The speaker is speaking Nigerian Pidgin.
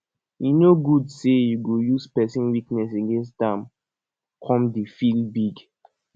e no good say you go use pesin weakness against am come dey feel big